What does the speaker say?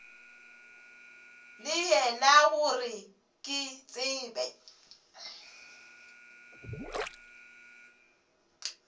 le yena gore ke tsebe